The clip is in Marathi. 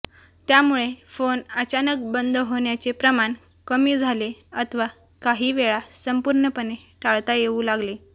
त्यामुळे फोन अचानक बंद होण्याचे प्रमाण कमी झाले अथवा काही वेळा संपूर्णपणे टाळता येऊ लागले